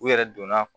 U yɛrɛ donna